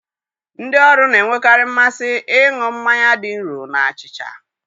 Ndị ọrụ na-enwekarị mmasị ịṅụ mmanya dị nro na achịcha.